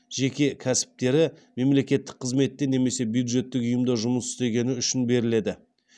жеке кәсіптері мемлекеттік қызметте немесе бюджеттік ұйымда жұмыс істегені үшін беріледі